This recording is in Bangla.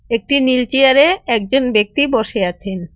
একটি নীল চেয়ারে একজন ব্যক্তি বসে আছেন।